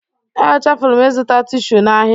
Echefuru m ịzụta tishu n'ahịa.